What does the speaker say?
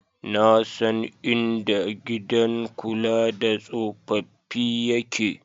Na san inda gidan kula da tsofaffi yake.